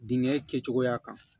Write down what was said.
Dingɛ kɛcogoya kan